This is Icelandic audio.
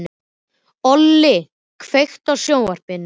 Olli, kveiktu á sjónvarpinu.